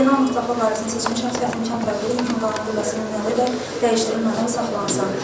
Zeynalov Mustafanın seçmə şəxs statusu kənarlaşdırılsın, onun qanuni qüvvədə dəyişdirilmədən saxlanılsın.